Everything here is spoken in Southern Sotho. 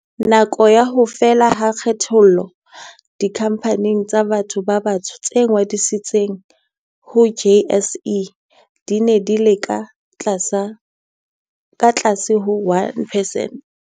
Nakong ya ho fela ha kgethollo, dikhampani tsa batho ba batsho tse ngodisitsweng ho JSE di ne di le ka tlase ho 1 percent.